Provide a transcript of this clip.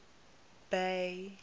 bay